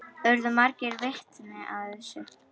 Urðu margir vitni að þessu.